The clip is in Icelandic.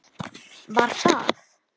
Hún: Var það?